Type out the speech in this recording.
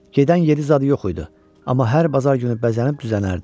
Gedən yeri zadı yox idi, amma hər bazar günü bəzənib düzənərdi.